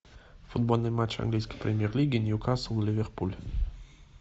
футбольный матч английской премьер лиги ньюкасл ливерпуль